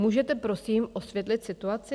Můžete prosím osvětlit situaci?